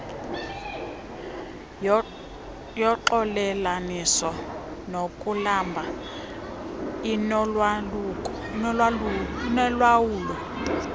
yoxolelaniso nokulamla inolawulo